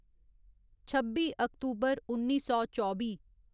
छब्बी अक्तूबर उन्नी सौ चौबी